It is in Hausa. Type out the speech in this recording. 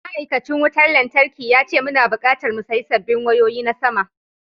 Ma’aikacin wutar lantarkin ya ce muna bukatar mu sayi sabbin wayoyi na sama.